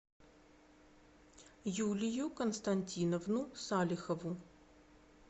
юлию константиновну салихову